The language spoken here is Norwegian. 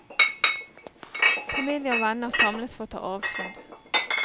Familie og venner samles for å ta avskjed.